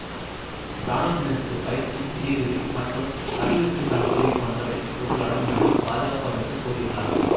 இராணுவத்தினருக்குப் பயிற்சி நிதியுதவி மற்றும் அபிவிருத்திக்கான உதவி போன்றவை இவற்றுள் அடங்கும் என பாதுகாப்பு அமைச்சர் கூறியுள்ளார்